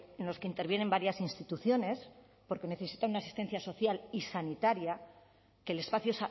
en los que intervienen varias instituciones porque necesitan asistencia social y sanitaria que el espacio